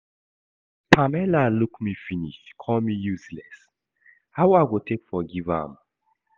Pamela look me finish call me useless, how I go take forgive am?